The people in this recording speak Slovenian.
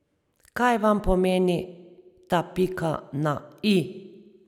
Kaj vam pomeni ta pika na i?